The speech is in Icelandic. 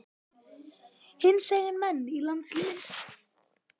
Hinsegin menn í landsliðinu?